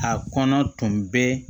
A kɔnɔ tun bɛ